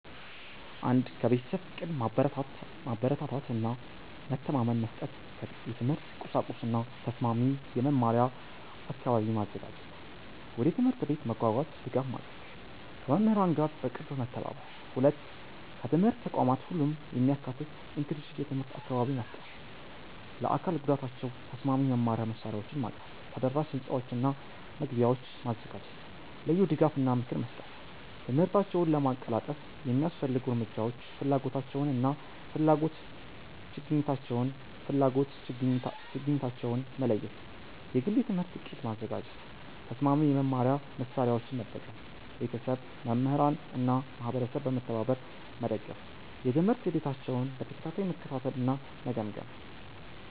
1. ከቤተሰብ ፍቅር፣ ማበረታታት እና መተማመን መስጠት። የትምህርት ቁሳቁስ እና ተስማሚ የመማሪያ አካባቢ ማዘጋጀት። ወደ ትምህርት ቤት መጓጓዣ ድጋፍ ማድረግ። ከመምህራን ጋር በቅርብ መተባበር። 2. ከትምህርት ተቋማት ሁሉንም የሚያካትት (inclusive) የትምህርት አካባቢ መፍጠር። ለአካል ጉዳታቸው ተስማሚ የመማሪያ መሳሪያዎችን ማቅረብ። ተደራሽ ሕንፃዎችና መግቢያዎች ማዘጋጀት። ልዩ ድጋፍ እና ምክር መስጠት። ትምህርታቸውን ለማቀላጠፍ የሚያስፈልጉ እርምጃዎች ፍላጎታቸውን እና ፍላጎት-ችግኝታቸውን መለየት። የግል የትምህርት ዕቅድ ማዘጋጀት። ተስማሚ የመማሪያ መሳሪያዎችን መጠቀም። ቤተሰብ፣ መምህራን እና ማህበረሰብ በመተባበር መደገፍ። የትምህርት ሂደታቸውን በተከታታይ መከታተል እና መገምገም።